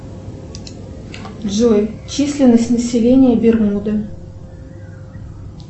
джой численность населения бермуды